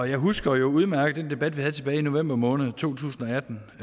jeg husker jo udmærket den debat vi havde tilbage i november måned to tusind